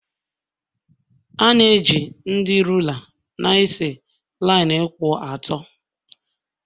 A na-eji ndị rula na-ese linu kwụ ọtọ.